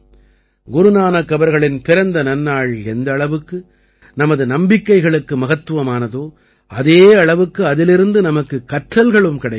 குரு நானக் அவர்களின் பிறந்த நன்னாள் எந்த அளவுக்கு நமது நம்பிக்கைகளுக்கு மகத்துவமானதோ அதே அளவுக்கு அதிலிருந்து நமக்குக் கற்றல்களும் கிடைக்கின்றன